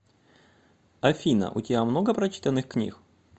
афина у тебя много прочитанных книг